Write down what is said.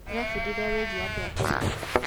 Tũrebundithia wĩgiĩ andũ a tene.